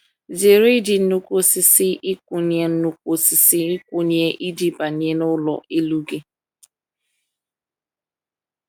Zere iji nnukwu osisi nkwụnye nnukwu osisi nkwụnye iji banye n’ụlọ elu gị.